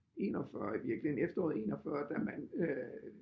41 i virkeligheden efteråret 41 da man øh